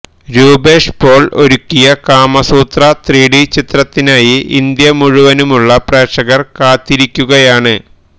രൂപേഷ് പോള് ഒരുക്കിയ കാമസൂത്ര ത്രിഡിച്ചിത്രത്തിനായി ഇന്ത്യമുഴുവനുമുള്ള പ്രേക്ഷകര് കാത്തിരിക്കുകയാണ്